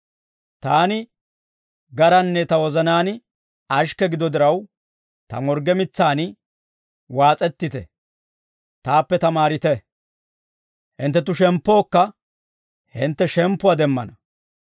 Taani garanne ta wozanaan ashikke gido diraw, ta morgge mitsaan waas'ettite; taappe tamaarite; hinttenttu sheemppookka hintte shemppuwaa demmana.